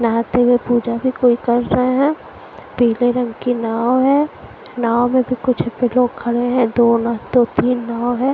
नहाते हुए पूजा भी कोई कर रहे हैं पीले रंग की नाव है नाव में भी कुछ भी लोग खड़े हैं दो ना दो तीन नाव है।